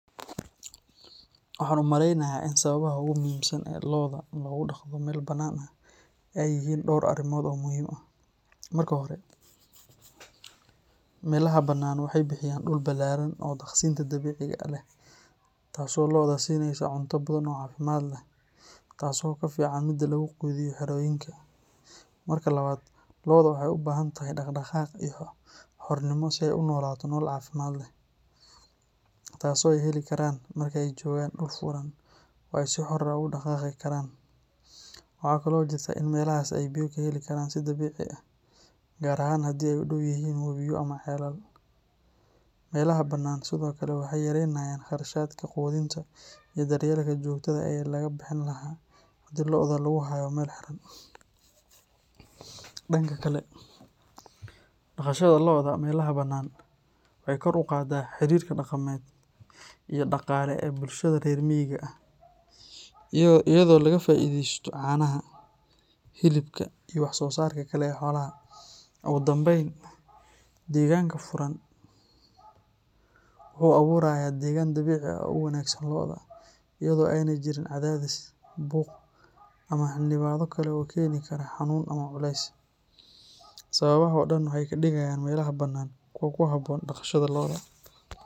Waxaan u maleynayaa in sababaha ugu muhiimsan ee lo’da loogu dhaqdo meel bannaan ay yihiin dhowr arrimood oo muhiim ah. Marka hore, meelaha bannaan waxay bixiyaan dhul ballaaran oo daaqsinka dabiiciga ah leh taasoo lo’da siinaysa cunto badan oo caafimaad leh, taasoo ka fiican midda lagu quudiyo xerooyinka. Marka labaad, lo’da waxay u baahan tahay dhaqdhaqaaq iyo xornimo si ay u noolaato nolol caafimaad leh, taasoo ay heli karaan marka ay joogaan dhul furan oo ay si xor ah ugu dhaqaaqi karaan. Waxaa kale oo jirta in meelahaas ay biyo ka heli karaan si dabiici ah, gaar ahaan haddii ay u dhow yihiin webiyo ama ceelal. Meelaha bannaan sidoo kale waxay yaraynayaan kharashka quudinta iyo daryeelka joogtada ah ee laga bixin lahaa haddii lo’da lagu hayo meel xiran. Dhanka kale, dhaqashada lo’da meelaha bannaan waxay kor u qaadaa xiriirka dhaqameed iyo dhaqaale ee bulshada reer miyiga ah, iyadoo laga faa’iidaysto caanaha, hilibka, iyo wax-soosaarka kale ee xoolaha. Ugu dambeyn, deegaanka furan wuxuu abuurayaa deegaan dabiici ah oo u wanaagsan lo’da, iyadoo aanay jirin cadaadis, buuq, ama xannibaado kale oo keeni kara xanuun ama culays. Sababahan oo dhan waxay ka dhigayaan meelaha bannaan kuwo ku habboon dhaqashada lo’da.